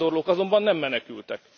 A bevándorlók azonban nem menekültek.